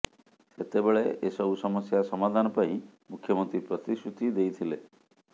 ସେତେବେଳେ ଏସବୁ ସମସ୍ୟା ସମାଧାନ ପାଇଁ ମୁଖ୍ୟମନ୍ତ୍ରୀ ପ୍ରତିଶ୍ରୁତି ଦେଇଥିଲେ